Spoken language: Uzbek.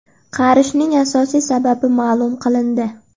Qarishning asosiy sababi ma’lum qilindi.